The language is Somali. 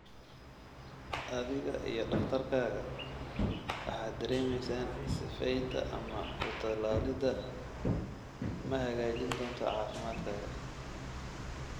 Adiga iyo takhtarkaaga waxaad dareemeysaan sifeynta ama ku-tallaalidda ma hagaajin doonto caafimaadkaaga.